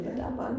Ja